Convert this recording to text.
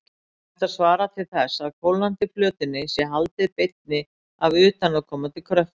Þetta svarar til þess að kólnandi plötunni sé haldið beinni af utanaðkomandi kröftum.